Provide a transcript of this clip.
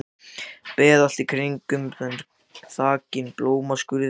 Beð allt í kringum þau þakin blómskrúði.